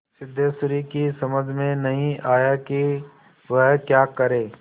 सिद्धेश्वरी की समझ में नहीं आया कि वह क्या करे